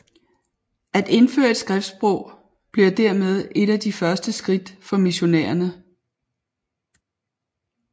At indføre et skriftsprog blev dermed et af de første skridt for missionærerne